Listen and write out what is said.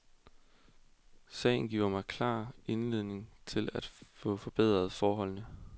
Sagen giver mig klar anledning til at få forbedret forholdene.